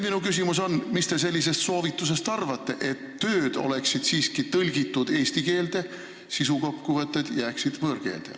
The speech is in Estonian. Minu küsimus nüüd on: mis te arvate sellisest soovitusest, et tööd oleksid siiski tõlgitud eesti keelde, sisukokkuvõtted aga oleksid võõrkeeles?